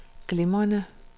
glimrende